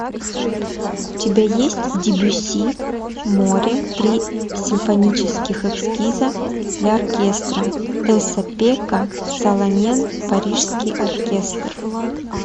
у тебя есть дебюсси море три симфонических эскиза для оркестра эса пекка салонен парижский оркестр